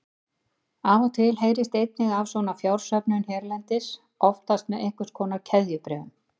Af og til heyrist einnig af svona fjársöfnun hérlendis, oftast með einhvers konar keðjubréfum.